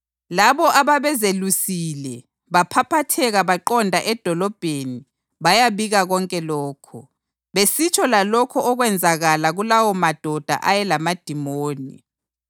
Labo ababezelusile baphaphatheka baqonda edolobheni bayabika konke lokhu, besitsho lalokho okwenzakala kulawomadoda ayelamadimoni.